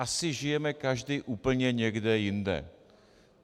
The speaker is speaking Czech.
Asi žijeme každý úplně někde jinde.